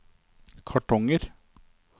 kartonger